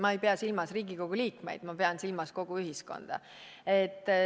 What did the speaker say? Ma ei pea silmas Riigikogu liikmeid, ma pean silmas kogu ühiskonda.